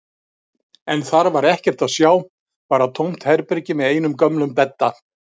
En þar var ekkert að sjá, bara tómt herbergi með einum gömlum bedda.